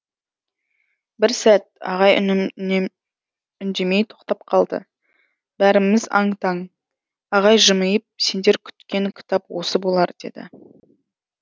бір сәт ағай үндемей тоқтап қалды бәріміз аң таң ағай жымиып сендер күткен кітап осы болар деді